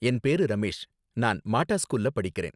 என் பேரு ரமேஷ், நான் மாட்டா ஸ்கூல்ல படிக்கறேன்.